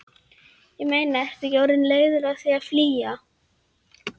Ég meina, ertu ekki orðinn leiður á því að flýja?